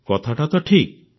କଥାଟା ତ ଠିକ୍